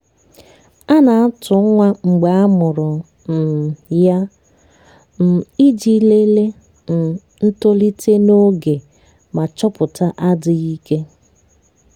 a na-atụ nwa mgbe a mụrụ um ya um iji lelee um ntolite n'oge ma chọpụta adịghị ike.